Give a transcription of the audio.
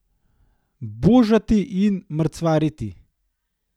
Božati in mrcvariti.